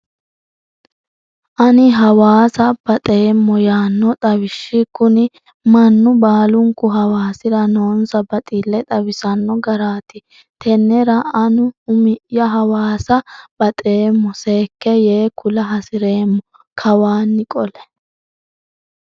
Ani hawaasa baxeemmo yaano xawishi kuni mannu baalunku hawaasira noonsa baxile xawisano garati tenera anu umi'ya hawaasa baxeemmo seekke yee kula hasireemmo kawanni qole.